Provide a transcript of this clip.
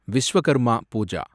Vishwakarma Pooja